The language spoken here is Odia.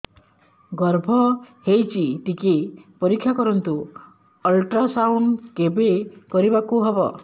ଗର୍ଭ ହେଇଚି ଟିକେ ପରିକ୍ଷା କରନ୍ତୁ ଅଲଟ୍ରାସାଉଣ୍ଡ କେବେ କରିବାକୁ ହବ